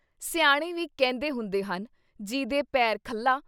ਸਿਆਣੇ ਵੀ ਕਹਿੰਦੇ ਹੁੰਦੇ ਹਨ :- ਜੀਹਦੇ ਪੈਰ ਖੱਲਾ।